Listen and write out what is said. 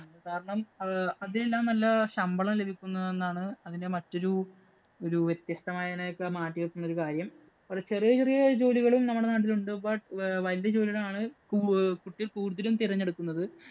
കാരണം, അതെല്ലാം നല്ല ശമ്പളം ലഭിക്കുന്നതെന്നാണ് അതിന്‍റെ മറ്റൊരു ഒരു വ്യത്യസ്തമായി അതിനെയൊക്കെ മാറ്റി നിര്‍ത്തുന്ന ഒരു കാര്യം. വളരെ ചെറിയ ചെറിയ ജോലികളും നമ്മുടെ നാട്ടില്‍ ഉണ്ട്. But വലിയ ജോലികളാണ് അഹ് കുട്ടികള്‍ കൂടുതലും തിരഞ്ഞെടുക്കുന്നത്.